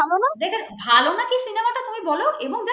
এটা ভালো না cinema টা তুমি বল এবং